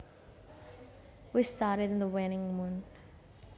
We studied the waning moon